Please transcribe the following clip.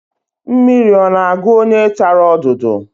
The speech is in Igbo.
Mmiri ọ na-agụ onye tara odudu?